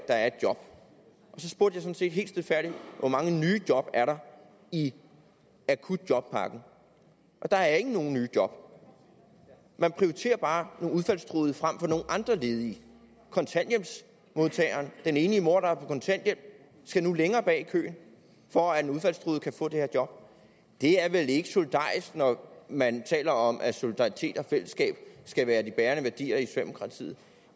er et job jeg spurgte så helt stilfærdigt hvor mange nye job er i akutjobpakken der er ikke nogen nye job man prioriterer bare nogle udfaldstruede frem for nogle andre ledige kontanthjælpsmodtageren den enlige mor på kontanthjælp skal nu længere bag i køen for at en udfaldstruet kan få det her job det er vel ikke solidarisk når man taler om at solidaritet og fællesskab skal være de bærende værdier i socialdemokratiet